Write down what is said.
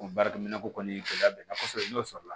O baara minɛn ko kɔni gɛlɛya bɛ kɔsɔbɛ n'o sɔrɔ la